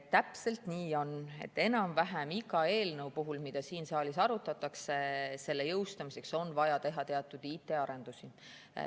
Täpselt nii on, et enam-vähem iga eelnõu jõustamiseks, mida siin saalis arutatakse, on vaja teha teatud IT‑arendusi.